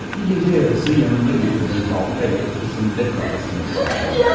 Bir gece yarısı yanında gətirdiyi baltayla ikisinin də kafasını parçaladı.